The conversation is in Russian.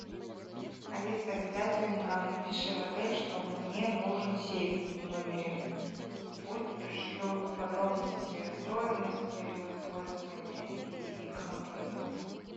алиса обязательно напиши в отель что мне нужен сейф в номере пусть пришлют подробности стоимости его использования и как им пользоваться